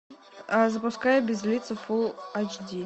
запускай без лица фул айч ди